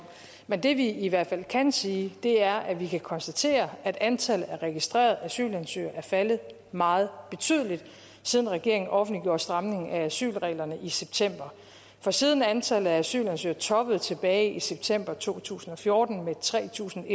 men det vi i hvert fald kan sige er at vi kan konstatere at antallet af registrerede asylansøgere er faldet meget betydeligt siden regeringen offentliggjorde stramningen af asylreglerne i september for siden antallet af asylansøgere toppede tilbage i september to tusind og fjorten med tre tusind